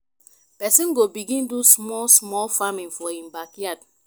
persin go begin do small small farming for e backyard